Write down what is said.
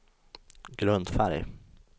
grundfärg